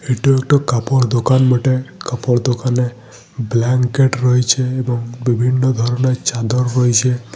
এটা একটা কাপড় দোকান বটে। কাপড় দোকানে ব্ল্যাঙ্কেট রয়েছে এবং বিভিন্ন ধরনের চাদর রয়েছে।